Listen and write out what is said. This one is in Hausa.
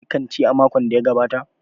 Shin kun je kanti a makon da ya gabata?